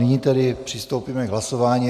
Nyní tedy přistoupíme k hlasování.